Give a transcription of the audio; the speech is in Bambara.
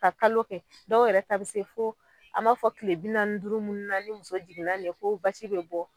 Ka kalo kɛ dɔw yɛrɛ ta be se fo an b'a fɔ ko kile bi naani ni duuru munnu na ni muso jigin na nin ye fo basi be bɔ